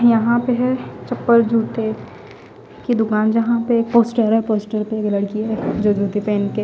यहा पे है चपल जुते की दुकान जहा पे एक पोस्टर है पोस्टर पे एक लडकी है जो जूते पहन के--